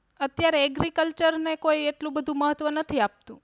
અત્યારે Agriculture ને કોઈ એટલું બધું મહત્વ નથી આપતું.